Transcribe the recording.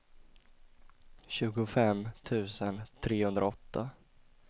tjugofem tusen trehundraåtta